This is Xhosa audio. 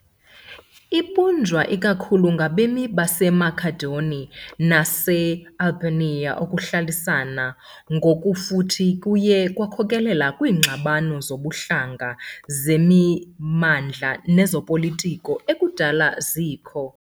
Ibunjwa ikakhulu ngabemi baseMakedoni nabase- Albania, ukuhlalisana ngokufuthi kuye kwakhokelela kwiingxabano zobuhlanga, zemimandla nezopolitiko ekudala zikho.